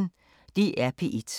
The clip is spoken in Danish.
DR P1